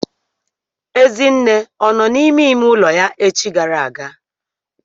Ezinne ọ nọ n'ime ime ụlọ ya echi gara aga?